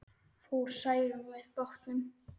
Fór Særún með bátnum.